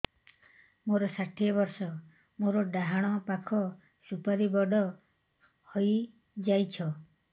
ମୋର ଷାଠିଏ ବର୍ଷ ମୋର ଡାହାଣ ପାଖ ସୁପାରୀ ବଡ ହୈ ଯାଇଛ